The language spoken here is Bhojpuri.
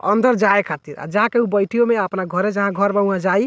अंदर जाये खातिर आ जाके उ बैठियो में अपना घरे जहाँ घर बा उहाँ जाई।